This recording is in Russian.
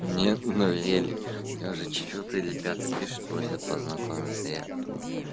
нет но ели у меня уже четвёртый или пятый пишет просят познакомиться я